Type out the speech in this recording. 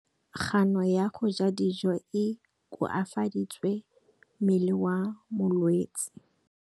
Kganô ya go ja dijo e koafaditse mmele wa molwetse.